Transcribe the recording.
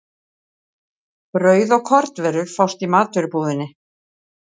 Brauð og kornvörur fást í matvörubúðinni.